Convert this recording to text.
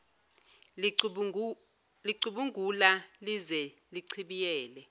licubungula lize lichibiyele